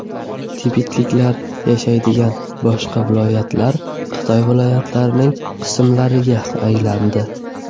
Tibetliklar yashaydigan boshqa viloyatlar Xitoy viloyatlarining qismlariga aylandi.